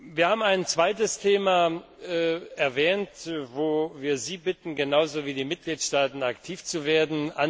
Wir haben ein zweites Thema erwähnt, wo wir Sie genauso wie die Mitgliedstaaten bitten, aktiv zu werden.